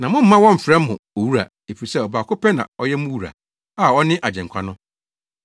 Na mommma wɔmmfrɛ mo ‘Owura,’ efisɛ ɔbaako pɛ na ɔyɛ mo wura a ɔne Agyenkwa no.